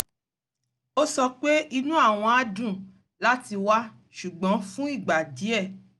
ó sọ pé inú àwọn á dùn láti wá ṣùgbọ́n fún ìgbà díẹ̣̀